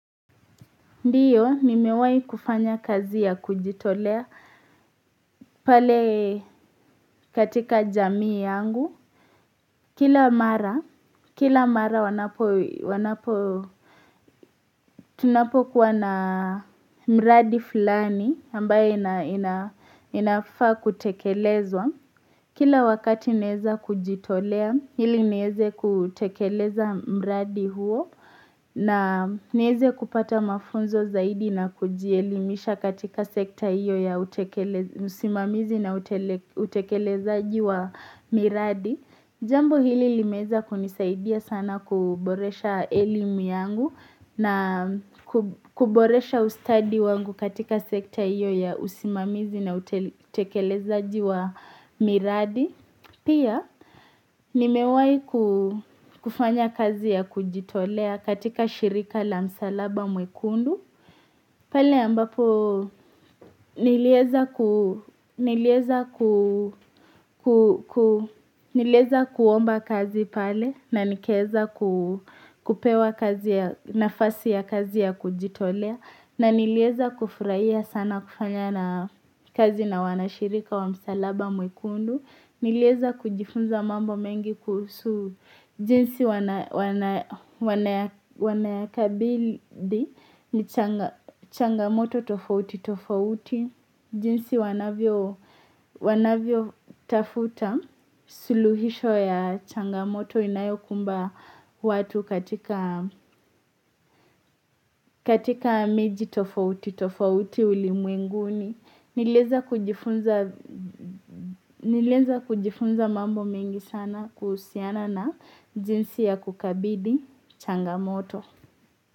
Ndiyo, nimewahi kufanya kazi ya kujitolea pale katika jamii yangu. Kila mara, kila mara wanapo, wanapo, tunapo kuwa na mradi fulani ambayo inafaa kutekelezwa. Kila wakati naweza kujitolea ili niweze kutekeleza mradi huo na niweze kupata mafunzo zaidi na kujielimisha katika sekta hiyo ya usimamizi na utekelezaji wa miradi. Jambo hili limeweza kunisaidia sana kuboresha elimu yangu na kuboresha ustadi wangu katika sekta hiyo ya usimamizi na utekelezajiwa miradi. Pia, nimewai kufanya kazi ya kujitolea katika shirika la msalaba mwekundu pale ambapo niliweza kuomba kazi pale na nikaweza kupewa nafasi ya kazi ya kujitolea na niliweza kufurahia sana kufanya na kazi na wanashirika wa msalaba mwekundu Niliweza kujifunza mambo mengi kuhusu jinsi wanayakabili ni changamoto tofauti tofauti. Jinsi wanavyo tafuta suluhisho ya changamoto inayokumba watu katika miji tofauti tofauti ulimwenguni. Niliweza kujifunza mambo mengi sana kuhusiana na jinsi ya kukabidhi changamoto.